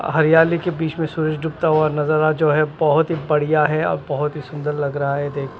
हरियाली के बीच में सूरज डूबता हुआ नजारा जो है बहुत ही बढ़िया है और बहुत ही सुंदर लग रहा है देख--